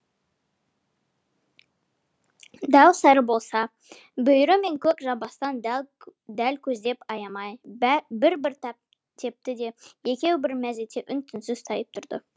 дәу сары болса бүйірі мен көк жамбастан дәл көздеп аямай бір бір тепті де екеуі бір мезетте үн түнсіз тайып тұрды